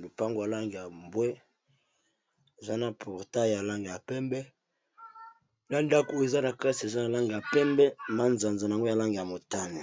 lopango ya langi ya mbwe, eza na portail ya langi ya pembe, na ndako eza na kati eza na langi ya pembe, manzanza nango ya langi ya motane.